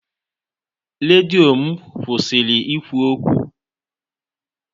Redio m kwụsịrị ikwu okwu.